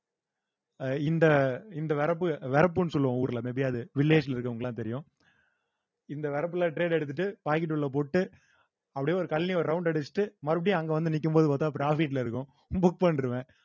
அஹ் இந்த இந்த வரப்பு வரப்புன்னு சொல்லுவோம் ஊர்ல may be அது village ல இருக்கிறவங்களுக்கு எல்லாம் தெரியும் இந்த வரப்புல trade எடுத்துட்டு pocket உள்ள போட்டு அப்படியே ஒரு கழனி ஒரு round அடிச்சிட்டு மறுபடியும் அங்க வந்து நிக்கும்போது பாத்தா profit ல இருக்கும் book பண்ணிடுவேன்